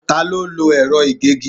Ta ló lo ẹ̀rọ ìgégi?